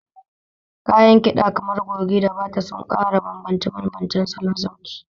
Kayan kiɗa kamar goge da bata suna ƙara bambance-bambancen salon sauti.